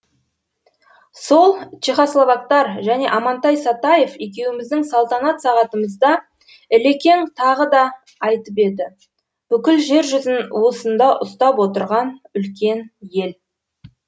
сол чехословактар және амантай сатаев екеуіміздің салтанат сағатымызда ілекең тағы да айтып еді бүкіл жер жүзін уысында ұстап отырған үлкен ел